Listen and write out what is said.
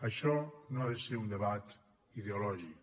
això no ha de ser un debat ideològic